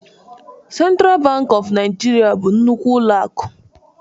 Central Bank of Nigeria bụ nnukwu ụlọ akụ